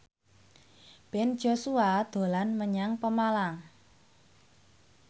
Ben Joshua dolan menyang Pemalang